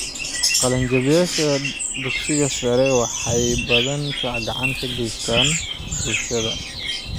Qalinjabiyeyaasha dugsiyadu waxay inta badan gacan ka geystaan ??bulshadooda.